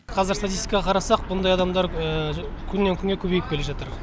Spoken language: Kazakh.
қазір статистикаға қарасақ мұндай адамдар күннен күнге көбейіп келе жатыр